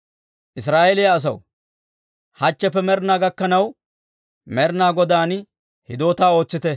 Israa'eeliyaa asaw, hachcheppe med'inaa gakkanaw Med'inaa Godaan hidootaa ootsite.